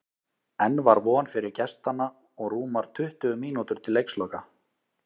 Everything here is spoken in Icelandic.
Enn var von fyrir gestanna og rúmar tuttugu mínútur til leiksloka.